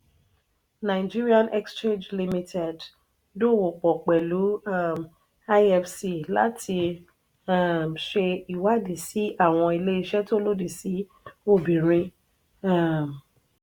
nigerian exchange limited dowo pò pelu um ifc láti um ṣe ìwádìí sí àwọn ilé ìṣe tó lòdì sí obìnrin. um